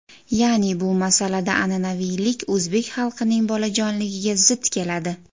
Ya’ni bu masalada an’anaviylik o‘zbek xalqining bolajonligiga zid keladi.